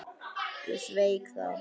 Ég sveik það.